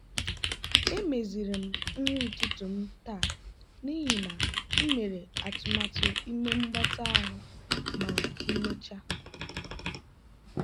emeziri m nri ụtụtụ m taa n'ihi na m mere atụmatụ ime mgbatị ahụ ma emechaa.